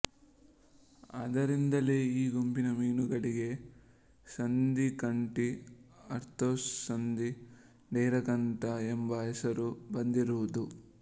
ಆದ್ದರಿಂದಲೇ ಈ ಗುಂಪಿನ ಮೀನುಗಳಿಗೆ ಸಂಧಿಕಂಠಿ ಆರ್ಥೊಸಂಧಿ ಡೈರಕಂಠ ಎಂಬ ಹೆಸರು ಬಂದಿರುವುದು